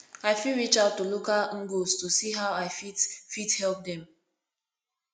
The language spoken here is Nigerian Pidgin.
i fit reach out to local ngos to see how i fit help fit help dem